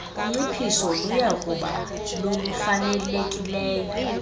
unciphiso luyakuba lolufanelekileyo